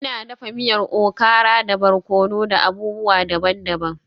Ina dafa miyar okara da barkono da abubuwa daban-daban.